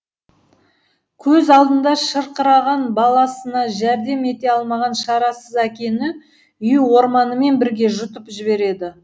көз алдында шырқыраған баласына жәрдем ете алмаған шарасыз әкені үй орманымен бірге жұтып жіберді